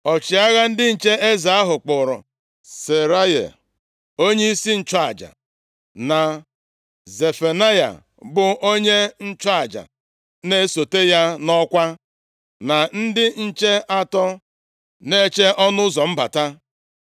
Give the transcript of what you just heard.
Ọchịagha ndị nche eze ahụ, kpụụrụ Seraya, onyeisi nchụaja, na Zefanaya, bụ onye nchụaja na-esote ya nʼọkwa, na ndị nche atọ na-eche ọnụ ụzọ mbata.